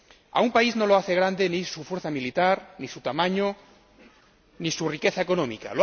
A un país no lo hace grande ni su fuerza militar, ni su tamaño, ni su riqueza económica.